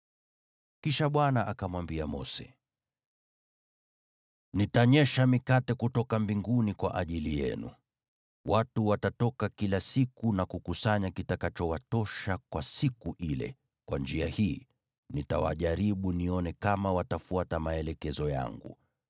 Kisha Bwana akamwambia Mose, “Nitanyesha mikate kutoka mbinguni kwa ajili yenu. Watu watatoka kila siku na kukusanya kitakachowatosha kwa siku ile, kwa njia hii, nitawajaribu nione kama watafuata maelekezo yangu.